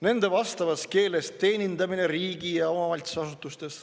Nende vastavas keeles teenindamine riigi- ja omavalitsusasutustes.